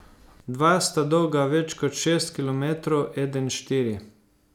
Dva sta dolga več kot šest kilometrov, eden štiri.